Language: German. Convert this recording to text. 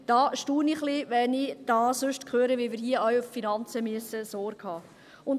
Da staune ich etwas, wenn ich sonst höre, wie wir hier zu den Finanzen Sorge tragen müssen.